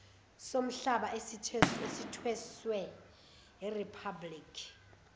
somhlaba esithweswe iriphablikhi